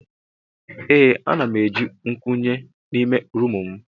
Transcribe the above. Ee ana m eji nkwunye n'ime roomu m.